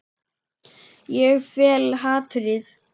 Ég fel hatrið.